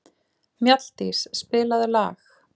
Mjalldís, spilaðu lag.